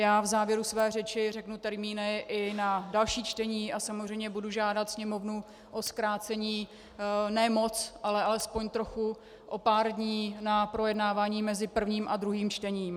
Já v závěru své řeči řeknu termíny i na další čtení a samozřejmě budu žádat Sněmovnu o zkrácení, ne moc, ale alespoň trochu, o pár dní, na projednávání mezi prvním a druhým čtením.